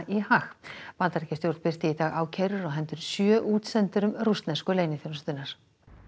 í Haag Bandaríkjastjórn birti í dag ákærur á hendur sjö útsendurum rússnesku leyniþjónustunnar